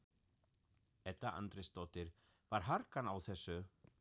Edda Andrésdóttir: Var harkan á þessu?